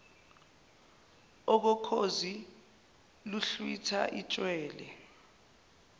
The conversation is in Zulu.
okokhozi luhlwitha itshwele